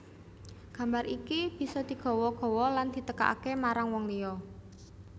Gambar iki bisa digawa gawa lan ditekakaké marang wong liya